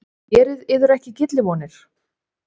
Gerið yður ekki gyllivonir!